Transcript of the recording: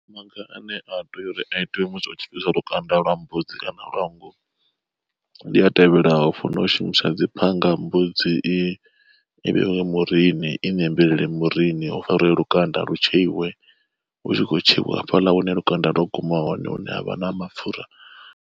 Maga ane a tea uri a itiwe musi hu tshi fhisa lukanda lwa mbudzi kana lwa nngu ndi a tevhelaho. Funa u shumisa dzi phanga mbudzi i i vhe murini i nembelela murini hu farwe lukanda lu tshekhiwe hu tshi khou tsheiwa hafhaḽa hune lukanda lwa guma hone hune havha na mapfura.